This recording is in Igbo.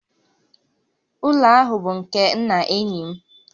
Ụlọ ahụ bụ nke nna enyi m